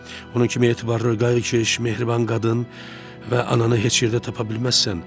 Onun kimi etibarlı, qayğıkeş, mehriban qadın və ananı heç yerdə tapa bilməzsən.